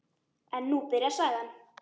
En nú byrjar sagan.